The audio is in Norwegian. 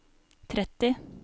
tretti